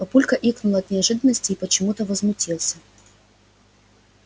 папулька икнул от неожиданности и почему-то возмутился